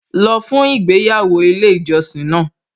Lọ fún ìgbéyàwó ilé ìjọsìn náà